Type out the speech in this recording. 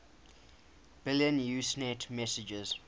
billion usenet messages